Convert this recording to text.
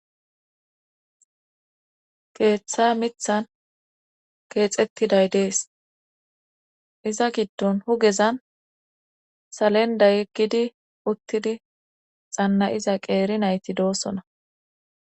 Keeththa mithan keexettiday dees iza giddon hugezan salenda yeggidi uttidi xanna'iza qeeri nayti doosona